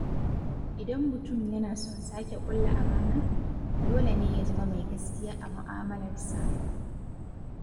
Idan mutum yana son sake ƙulla amana, dole ne ya zama mai gaskiya a mu'amalarsa..